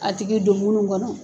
A tigi do munu kɔnɔ.